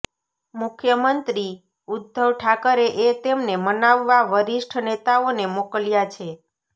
મુખ્યમંત્રી ઉદ્ધવ ઠાકરેએ તેમને મનાવવા વરિષ્ઠ નેતાઓને મોકલ્યા છે